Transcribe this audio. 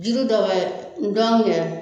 Jiri dɔw bɛ n'dɔngɛ